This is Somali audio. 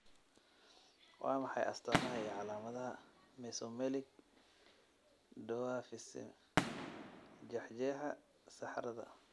Waa maxay astamaha iyo calaamadaha Mesomelic dwarfism jeexjeexa saxarada?